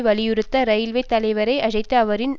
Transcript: வலியுறுத்திய இரயில்வே தலைவர் ஐ அழைத்து அவரின்